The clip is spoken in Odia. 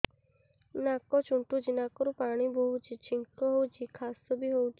ନାକ ଚୁଣ୍ଟୁଚି ନାକରୁ ପାଣି ବହୁଛି ଛିଙ୍କ ହଉଚି ଖାସ ବି ହଉଚି